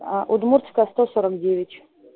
удмуртская сто сорок девять